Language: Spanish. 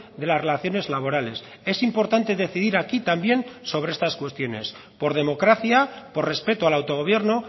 de las relaciones laborales es importante decidir aquí también sobre estas cuestiones por democracia por respeto al autogobierno